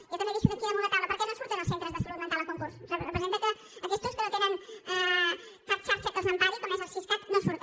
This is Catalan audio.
jo també ho deixo aquí damunt la taula per què no surten els centres de salut mental a concurs representa que aquestos que no tenen cap xarxa que els empari com és el siscat no surten